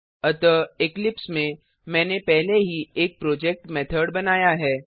अतः इक्लिप्स में मैंने पहले ही एक प्रोजेक्ट मेथड बनाया है